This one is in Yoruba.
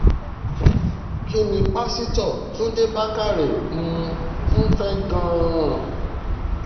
kín ní pásítọ̀ túnde bàkàrẹ́ um ń fẹ́ gan-an